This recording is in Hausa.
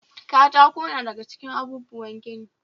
Katako na da ga cikin abubuwan gini.